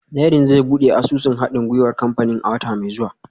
Dẹrín zai buɗe asusun haɗin gwiwar kamfanin a wata mai zuwa